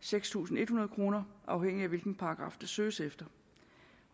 seks tusind en hundrede kroner afhængigt af hvilken paragraf der søges efter